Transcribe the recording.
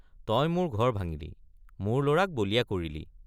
তই মোৰ ঘৰ ভাঙিলি—মোৰ লৰাক বলিয়া কৰিলি।